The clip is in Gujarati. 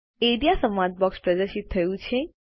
એઆરઇએ સંવાદ બોક્સ પ્રદર્શિત થયું છે